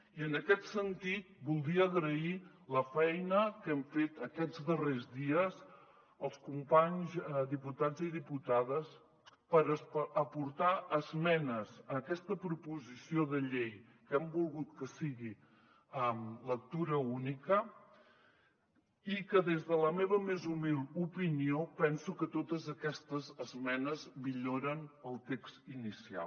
i en aquest sentit voldria agrair la feina que hem fet aquests darrers dies els companys diputats i diputades per aportar esmenes a aquesta proposició de llei que hem volgut que sigui en lectura única i que des de la meva més humil opinió penso que totes aquestes esmenes milloren el text inicial